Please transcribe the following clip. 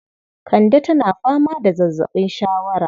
Kande tana fama da zazzaɓin shawara